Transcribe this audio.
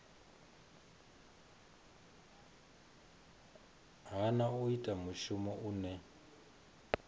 hana u ita mushumo une